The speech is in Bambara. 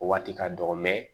O waati ka dɔgɔ